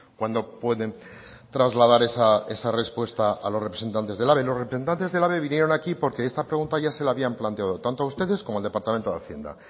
cuándo pueden trasladar esa respuesta a los representantes de ehlabe los representantes de ehlabe vinieron aquí porque esta pregunta ya se la habían planteado tanto a ustedes como al departamento de hacienda